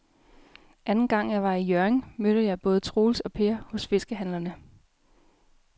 Anden gang jeg var i Hjørring, mødte jeg både Troels og Per hos fiskehandlerne.